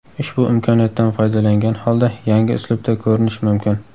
Ushbu imkoniyatdan foydalangan holda yangi uslubda ko‘rinish mumkin.